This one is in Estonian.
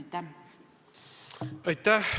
Aitäh!